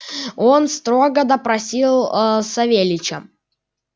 он строго допросил аа савельича